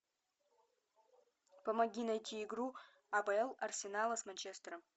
помоги найти игру апл арсенала с манчестером